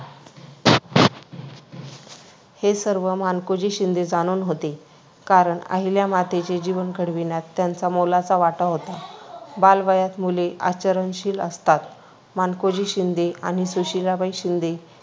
हे सर्व मानकोजी शिंदे जाणून होते. कारण अहिल्यामातेचे जीवन घडविण्यात त्यांचा मोलाचा वाटा होता. बालवयात मुले आचरणशील असतात. मानकोजी शिंदे आणि सुशीलाबाई शिंदे